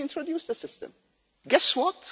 We introduced the system. Guess what?